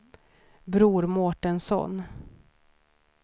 Bror Mårtensson